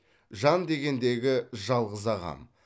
жан дегендегі жалғыз ағам